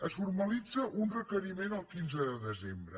es formalitza un requeriment el quinze de desembre